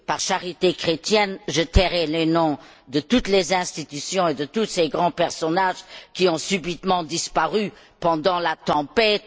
Par charité chrétienne, je tairai les noms de toutes les institutions et de tous ces grands personnages qui ont subitement disparu pendant la tempête.